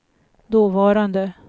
dåvarande